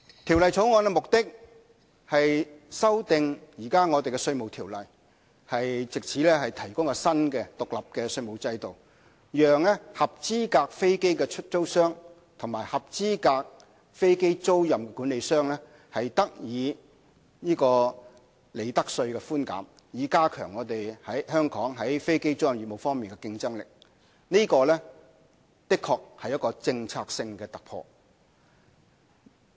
《條例草案》的目的是修訂現時的《稅務條例》，藉以提供新的獨立稅務制度，讓合資格飛機出租商及合資格飛機租賃管理商得到利得稅寬減，以加強香港在飛機租賃業務方面的競爭力，這的確是政策性的突破。